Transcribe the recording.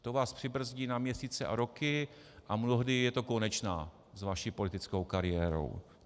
To vás přibrzdí na měsíce a roky a mnohdy je to konečná s vaší politickou kariérou.